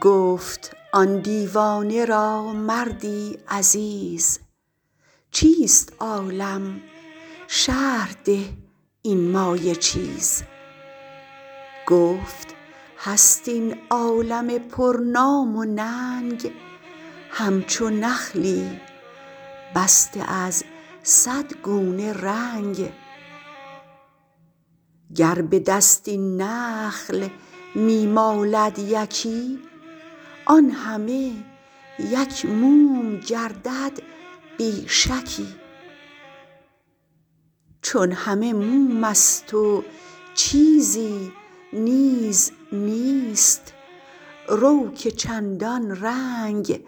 گفت آن دیوانه را مردی عزیز چیست عالم شرح ده این مایه چیز گفت هست این عالم پر نام و ننگ همچو نخلی بسته از صد گونه رنگ گر به دست این نخل می مالد یکی آن همه یک موم گردد بی شکی چون همه مومست و چیزی نیز نیست رو که چندان رنگ